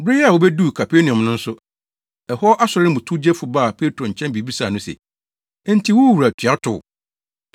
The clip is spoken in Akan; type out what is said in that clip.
Bere a wobeduu Kapernaum no nso, ɛhɔ asɔre no mu towgyefo baa Petro nkyɛn bebisaa no se, “Enti wo wura tua tow?”